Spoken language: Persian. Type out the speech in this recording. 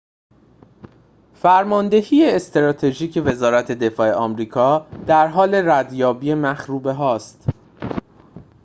فرماندهی استراتژیک وزارت دفاع آمریکا در حال ردیابی مخروبه‌هاست